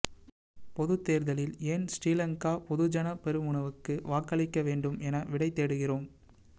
பொதுத் தேர்தலில் ஏன் ஸ்ரீலங்கா பொதுஜன பெரமுனவுக்கு வாக்களிக்க வேண்டும் என விடை தேடுகிறோம்